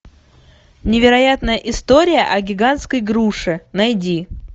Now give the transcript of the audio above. невероятная история о гигантской груше найди